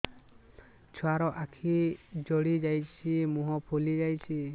ଛୁଆର ଆଖି ଜଡ଼ି ଯାଉଛି ମୁହଁ ଫୁଲି ଯାଇଛି